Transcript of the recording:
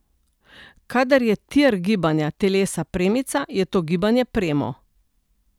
Kadar je tir gibanja telesa premica, je to gibanje premo.